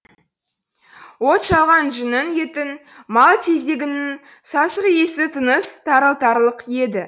от шалған жүннің еттің мал тезегінің сасық иісі тыныс тарылтарлық еді